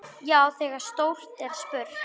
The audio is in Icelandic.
Já, þegar stórt er spurt.